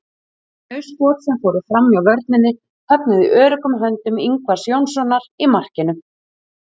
Þau skot sem fóru framhjá vörninni höfnuðu í öruggum höndum Ingvars Jónssonar í markinu.